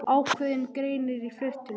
Ákveðinn greinir í fleirtölu.